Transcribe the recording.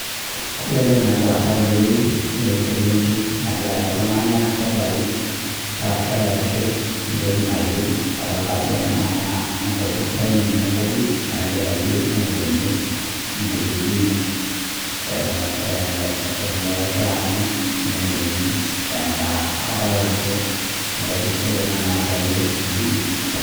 Ore entoki nagira aasa tenewueji naa eselenkei nagira ayaki iltungana sudai ashu ayaki entoki nayieu adolita ajo ore ena naa enkopisaai naingua enkofis nagira ayiu neyakini enkiti juice eton ee eton e ekegira aanyu meyakini endaa adolta ajo enkofisai ena nayakaki juice